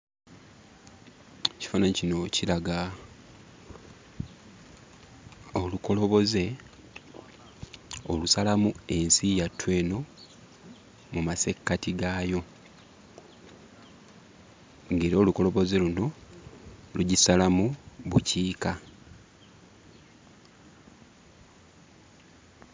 Ekifaananyi kino kiraga olukoloboze olusalamu ensi yattu eno mu masekkati gaayo, ng'era olukoloboze luno lugisalamu bukiika.